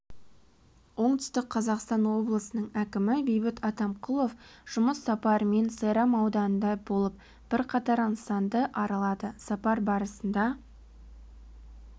оңтүстік қазақстан облысының әкімі бейбіт атамқұлов жұмыс сапарымен сайрам ауданында болып бірқатар нысанды аралады сапар барысында